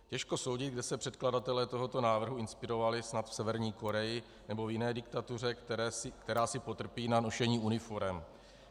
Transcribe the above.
Těžko soudit, kde se předkladatelé tohoto návrhu inspirovali - snad v Severní Koreji nebo v jiné diktatuře, která si potrpí na nošení uniforem.